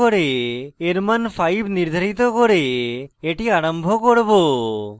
এর মান 5 নির্ধারিত করে এটি আরম্ভ করব